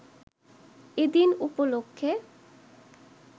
এ দিন উপলক্ষে